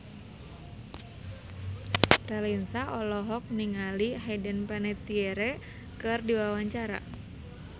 Raline Shah olohok ningali Hayden Panettiere keur diwawancara